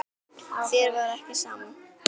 Þér var ekki sama.